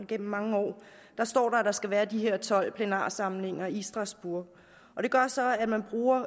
gennem mange år står der at der skal være de her tolv plenarforsamlinger i strasbourg og det gør så at man bruger